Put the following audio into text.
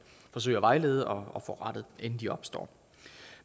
forsøge at vejlede og få fejlene rettet inden de opstår